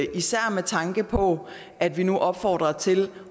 med tanke på at vi nu opfordrer til